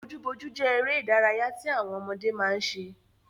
Bojúbojú jẹ́ eré ìdárayá tí àwọn ọmọdé máa ń ṣe